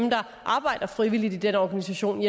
arbejder frivilligt i den organisation